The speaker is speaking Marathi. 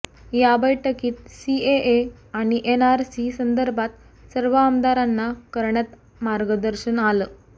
या बैठकीत सीएए आणि एनआरसी संदर्भात सर्व आमदारांना करण्यात मार्गदर्शन आलं